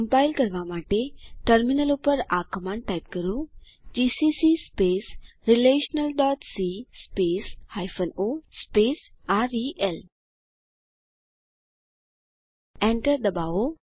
compile કરવા માટે terminal ઉપર આ કમાંડ ટાઇપ કરો જીસીસી relationalસી o રેલ Enter ડબાઓ